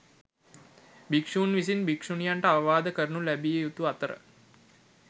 භික්‍ෂූන් විසින් භික්‍ෂුණියන්ට අවවාද කරනු ලැබිය යුතු අතර